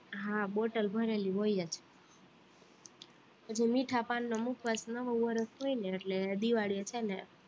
હા બોટલ ભરેલી હોય જ પછી મીઠા પાનનો મુખવાસ નવું વર્ષ હોય ને એટલે દિવાળીએ છે ને